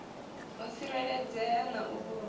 u tsireledzea na u vhulungea